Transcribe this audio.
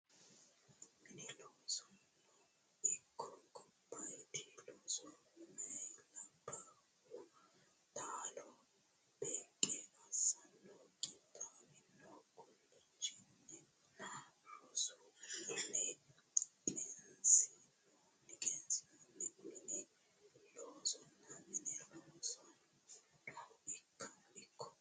Mini loosono ikko gobbaaydi looso meyaa labbaahu taalo beeqqo assanno qixxaawino guulchinninna rosu ummanni qineessinoonni Mini loosono Mini loosono ikko.